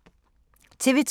TV 2